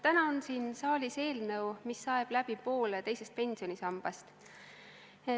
Täna on siin saalis eelnõu, mis saeb läbi poole teisest pensionisambast.